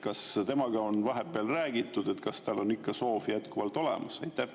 Kas temaga on vahepeal räägitud, kas tal on soov ikka jätkuvalt olemas?